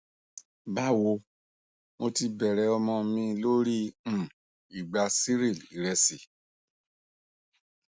bawo mo ti bẹrẹ ọmọ mi lori um igba cereal iresi